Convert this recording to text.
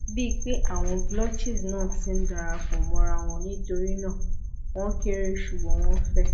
bíi pé àwọn blotches náà ti n darapọ̀ mọ́ra wọn nítorí náà wọ́n kééré ṣùgbọ́n wọ́n fẹ̀